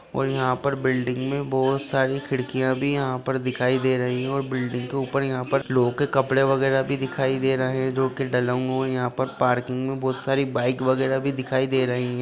और यहां पर बिल्डिंग में बहुत सारी खिड़कियां भी यहाँ पर दिखाई दे रही हैं और बिल्डिंग के ऊपर यहां पर लोगों के कपड़े वगेरा भी दिखाई दे रहे हैं जो की डले हुए हैं और यहां पर पार्किंग में बहुत सी बाइक वगेरा भी दिखाई दे रही हैं।